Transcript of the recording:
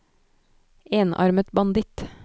enarmet banditt